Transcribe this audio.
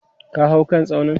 ka hau kan tsaunin!